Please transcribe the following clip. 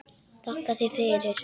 Þakka þér fyrir